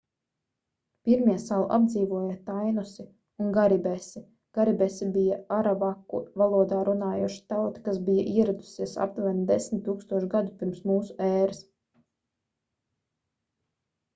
pirmie salu apdzīvoja tainosi un karibesi karibesi bija aravaku valodā runājoša tauta kas bija ieradusies aptuveni 10 000 gadu pirms mūsu ēras